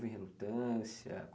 relutância?